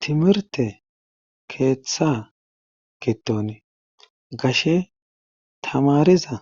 timirte keeththa giton gashe tamariza